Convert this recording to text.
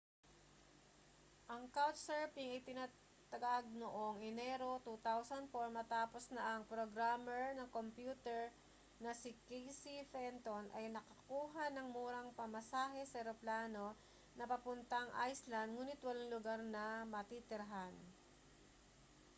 ang couchsurfing ay itinatag noong enero 2004 matapos na ang programmer ng kompyuter na si casey fenton ay nakakuha ng murang pamasahe sa eroplano na papuntang iceland nguni't walang lugar na matitirhan